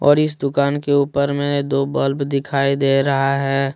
और इस दुकान के ऊपर में दो बल्ब दिखाई दे रहा है।